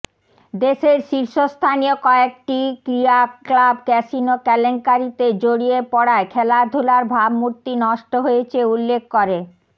দেশের শীর্ষস্থানীয় কয়েটি ক্রীড়া ক্লাব ক্যাসিনো কেলেঙ্কারিতে জড়িয়ে পড়ায় খেলাধুলার ভাবমূর্তি নষ্ট হয়েছে উল্লেখ করে